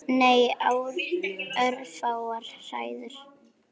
Nei, örfáar hræður.